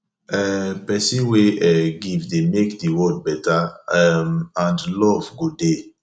um pesin wey um give dey mek di world beta um and luv go dey